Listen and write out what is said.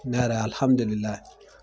N yɛrɛ